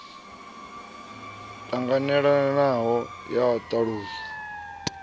ṱanganelanaho ya u ṱalusa u